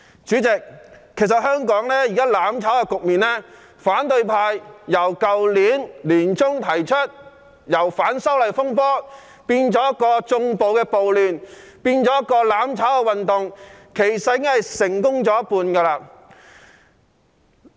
主席，香港現時"攬炒"的局面，自反對派去年年中開始將反修例風波變成縱容暴力的亂局，再變成一項"攬炒"運動，至今已經成功了一半。